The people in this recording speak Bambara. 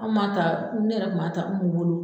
Anw b'a ta ne yɛrɛ kun b'a ta UMU bolo.